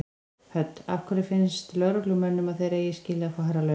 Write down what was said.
Hödd: Af hverju finnst lögreglumönnum að þeir eigi skilið að fá hærri laun?